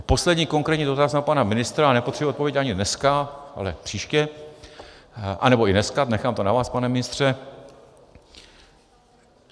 A poslední konkrétní dotaz na pana ministra, a nepotřebuji odpověď ani dneska, ale příště, anebo i dneska, nechám to na vás, pane ministře.